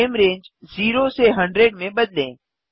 frame range 0 से 100 में बदलें